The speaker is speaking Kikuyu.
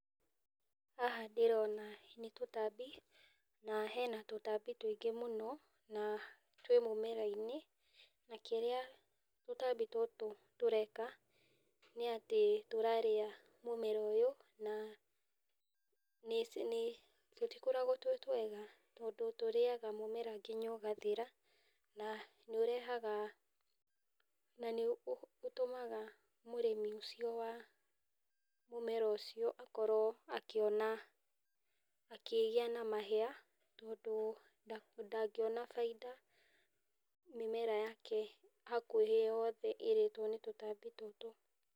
Haha ndĩrona nĩ tũtambi, na hena tũtambi tũingĩ mũno, na twĩ mũmera-inĩ , na kĩrĩa tũtambi tũtũ tũreka nĩ atĩ , tũrarĩa mũmera ũyũ, na nĩ nĩ tũtikoragwo twĩ twega tondũ tũrĩaga mũmera nginya ũgathira, na nĩ ũrehaga ,na nĩ ũtũmaga mũrĩmi ũcio wa mũmera ũcio, akorwo akiona akĩgĩa na mahĩa tondũ ndangĩona baida, mĩmera yake hakuhĩ yothe ĩrĩtwo nĩ tũtambi tũtũ.